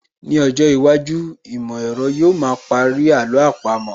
Ní ọjọ́ iwájú, ìmọ̀ ẹ̀rọ yóò ma parí àló àpamọ́